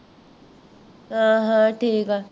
ਹਾਂ ਹਾਂ ਠੀਕ ਹਾ